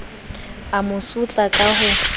a mo sotla ka ho